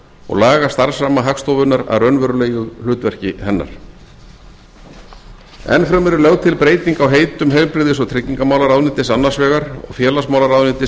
og laga starfsramma hagstofunnar að raunverulegu hlutverki hennar enn fremur er lögð til breyting á heitum heilbrigðis og tryggingamálaráðuneytis annars vegar og félagsmálaráðuneytis